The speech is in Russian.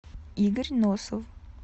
игорь носов